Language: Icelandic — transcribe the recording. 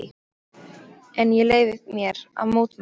En ég leyfi mér að mótmæla þessu.